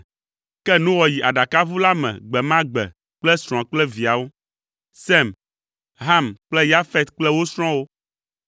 Ke Noa yi aɖakaʋu la me gbe ma gbe kple srɔ̃a kple viawo, Sem, Ham kple Yafet kple wo srɔ̃wo.